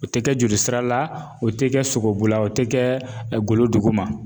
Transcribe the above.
O ti kɛ jolisira la, o ti kɛ sogobula, o ti kɛ golo duguma